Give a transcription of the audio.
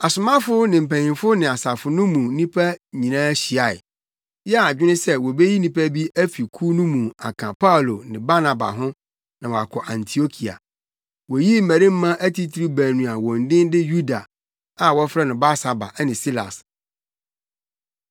Asomafo ne mpanyimfo ne asafo no mu nnipa nyinaa hyiae, yɛɛ adwene sɛ wobeyi nnipa bi afi kuw no mu aka Paulo ne Barnaba ho na wɔakɔ Antiokia. Woyii mmarima atitiriw baanu a wɔn din de Yuda, a wɔfrɛ no Barsaba ne Silas.